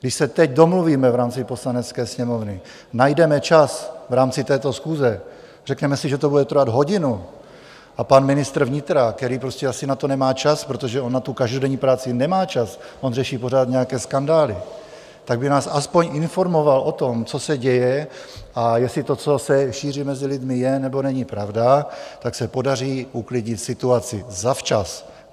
Když se teď domluvíme v rámci Poslanecké sněmovny, najdeme čas v rámci této schůze, řekneme si, že to bude trvat hodinu, a pan ministr vnitra, který prostě asi na to nemá čas, protože on na tu každodenní práci nemá čas, on řeší pořád nějaké skandály, tak by nás aspoň informoval o tom, co se děje, a jestli to, co se šíří mezi lidmi, je, nebo není pravda, tak se podaří uklidnit situaci zavčas.